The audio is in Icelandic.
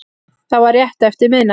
Það var rétt eftir miðnætti